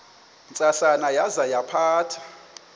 ntsasana yaza yaphatha